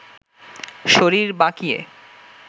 শরীর বাঁকিয়ে